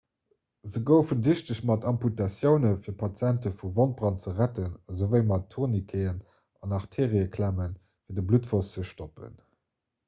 se goufen dichteg mat amputatiounen fir patiente vu wondbrand ze retten esouwéi mat tourniqueten an arteeriëklemmen fir de bluttfloss ze stoppen